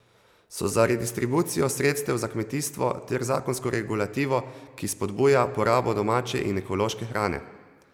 So za redistribucijo sredstev za kmetijstvo ter zakonsko regulativo, ki spodbuja porabo domače in ekološke hrane.